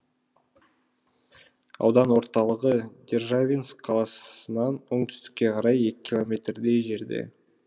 аудан орталығы державинск қаласынан оңтүстікке қарай екі километрдей жерде